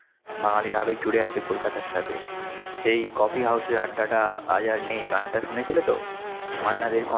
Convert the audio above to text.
বাঙ্গালির আবেগ জড়িয়ে আছে কলকাতার সাথে, সেই coffee house র আড্ডাটা আজ আর নেই গানটা শুনেছিলেতো? মান্না দের কণ্ঠে?